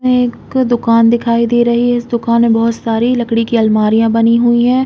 ये एक दुकान दिखाई दे रही है। इस दुकान में बोहोत सारी लकड़ी की अलमारियां बनी हुई हैं।